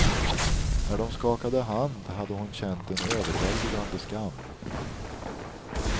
När de skakade hand hade hon känt en överväldigande skam.